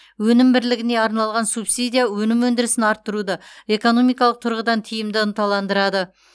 өнім бірлігіне арналған субсидия өнім өндірісін арттыруды экономикалық тұрғыдан тиімді ынталандырады